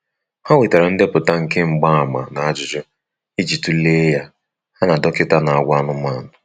Ha wetara ndepụta nke mgbaàmà na ajụjụ iji tule ya, ha na dọkita na-agwọ anụmanụ.